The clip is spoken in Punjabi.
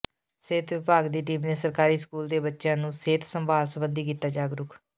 ਸਿਹਤ ਵਿਭਾਗ ਦੀ ਟੀਮ ਨੇ ਸਰਕਾਰੀ ਸਕੂਲ ਦੇ ਬੱਚਿਆਂ ਨੂੰ ਸਿਹਤ ਸੰਭਾਲ ਸਬੰਧੀ ਕੀਤਾ ਜਾਗਰੂਕ